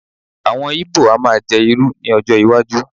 awon ibo a ma je iru ni ọjọ iwaju